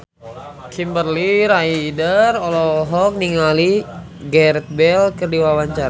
Kimberly Ryder olohok ningali Gareth Bale keur diwawancara